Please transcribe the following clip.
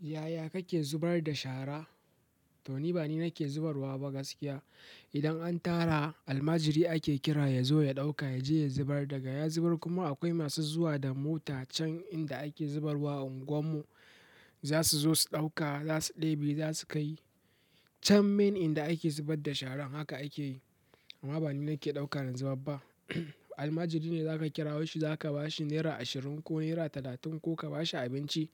Yaya kake zubar da shara? To ni ba ni na ke zubarwa ba gaskiya. Idan an tara, almajiri ake kira ya zo ya ɗauka ya je ya zubar daga ya zubar. Kuma akwai masu zuwa da mota can inda ake zubarwa unguwar mu. Za su zo su ɗauka, za su ɗebe za su kai. Can main inda ake zubar da shara haka ake yi. Amma ba ni na ke ɗauka na zubar ba. Almajiri ne za ka kirawo shi, za ka ba shi naira ashirin ko naira talatin ko ka ba shi abinci.